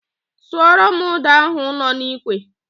Suoro m ụ́dà ahụ nọ n'ikwe!